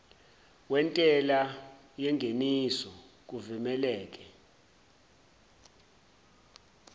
wentela yengeniso kuvumeleke